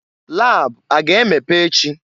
Lab a ga-emepe echi?